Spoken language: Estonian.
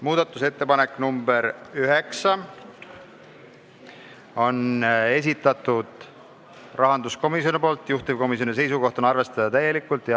Muudatusettepanek nr 9 on rahanduskomisjoni esitatud, juhtivkomisjoni seisukoht: arvestada täielikult.